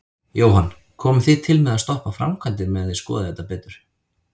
Jóhann: Komið þið til með að stoppa framkvæmdir meðan þið skoðið þetta betur?